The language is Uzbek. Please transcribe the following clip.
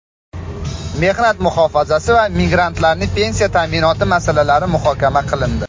mehnat muhofazasi va migrantlarning pensiya ta’minoti masalalari muhokama qilindi.